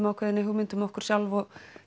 ákveðinni hugmynd um okkur sjálf og